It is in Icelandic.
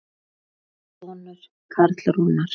Þinn sonur Karl Rúnar.